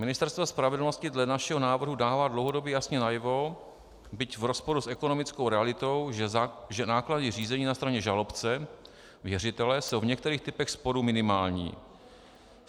Ministerstvo spravedlnosti dle našeho návrhu dává dlouhodobě jasně najevo, byť v rozporu s ekonomickou realitou, že náklady řízení na straně žalobce, věřitele, jsou v některých typech sporu minimální.